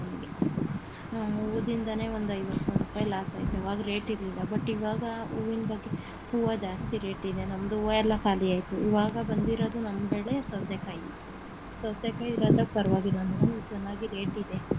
ಹೂವದಿಂದನೇ ಒಂದು ಐವತ್ತು ಸಾವರುಪಾಯಿ loss ಆಯ್ತು ಆವಾಗ rate ಇರ್ಲಿಲ್ಲ but ಇವಾಗ ಹೂವಿನ ಬಗ್ಗೆ ಹೂವ ಜಾಸ್ತಿ rate ಇದೆ ನಮ್ದು ಹೂವ ಎಲ್ಲ ಕಾಲಿ ಆಯ್ತು ಇವಾಗ ಬಂದಿರೋದು ನಮ್ ಬೆಳೆ ಸೌತೆಕಾಯಿ ಸೌತೆಕಾಯಿ ಇವಾಗ ಪರವಾಗಿಲ್ಲ ಚೆನ್ನಾಗಿ rate ಇದೆ.